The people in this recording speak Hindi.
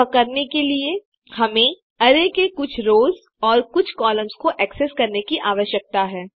यह करने के लिए हमें अरै के कुछ रोस और कुछ कॉलम्स को एक्सेस करने की आवश्यकता है